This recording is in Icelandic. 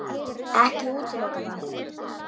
Ekki útiloka það.